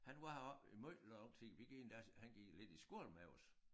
Han var heroppe i måj lang tid vi gik endda han gik lidt i skole med os